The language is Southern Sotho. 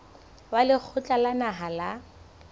wa lekgotla la naha la